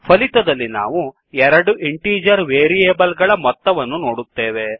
ಫಲಿತದಲ್ಲಿ ನಾವು ಎರಡು integer variable ಗಳ ಮೊತ್ತವನ್ನು ನೋಡುತ್ತೇವೆ